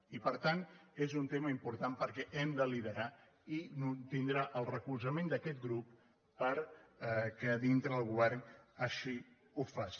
i per tant és un tema im·portant perquè hem de liderar i tindrà el recolzament d’aquest grup perquè dintre del govern així ho faci